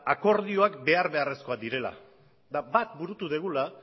akordioak behar beharrezkoak direla eta bat burutu dugula